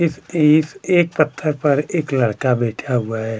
इस एक-एक पत्थर पर एक लड़का बैठा हुआ है।